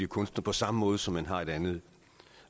kunstner på samme måde som hvis man har et andet